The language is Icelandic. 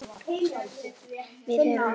Þjóðin fylgist með.